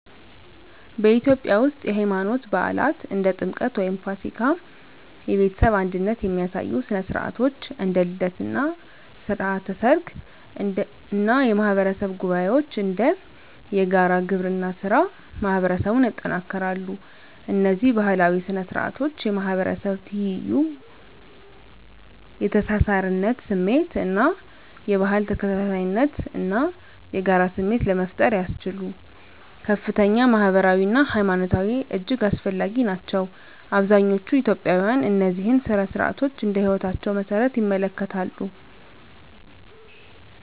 በኢትዮጵያ ውስጥ፣ የሃይማኖት በዓላት (እንደ ጥምቀት ወይም ፋሲካ)፣ የቤተሰብ አንድነት የሚያሳዩ ሥነ ሥርዓቶች (እንደ ልደት እና ሥርዓተ ሰርግ) እና የማህበረሰብ ጉባኤዎች (እንደ የጋራ ግብርና ሥራ) ማህበረሰቡን ያጠናክራሉ። እነዚህ ባህላዊ ሥነ ሥርዓቶች የማህበረሰብ ትይዩ፣ የተሳሳርነት ስሜት እና የባህል ተከታታይነት እና የጋራ ስሜት ለመፍጠር ያስችሉ ከፍተኛ ማህበራዊ አና ሀይማኖታዊ እጅግ አስፈላጊ ናቸው። አብዛኛዎቹ ኢትዮጵያውያን እነዚህን ሥነ ሥርዓቶች እንደ ህይወታቸው መሰረት ይመለከታሉ።